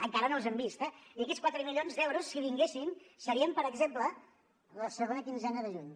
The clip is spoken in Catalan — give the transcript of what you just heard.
encara no els hem vist eh i aquests quatre milions d’euros si vinguessin serien per exemple la segona quinzena de juny